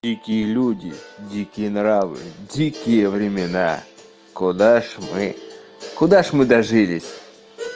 дикие люди дикие нравы дикие времена куда ж мы куда же мы дожились